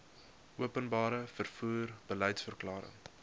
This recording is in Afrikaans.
openbare vervoer beliedsverklaring